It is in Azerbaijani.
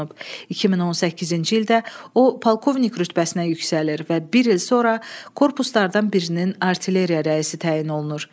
2018-ci ildə o polkovnik rütbəsinə yüksəlir və bir il sonra korpuslardan birinin artilleriya rəisi təyin olunur.